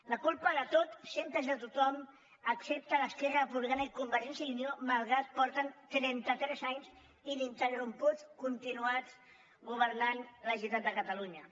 la culpa de tot sempre és de tothom excepte d’esquerra republicana i convergència i unió malgrat que porten trenta tres anys ininterromputs continuats governant la generalitat de catalunya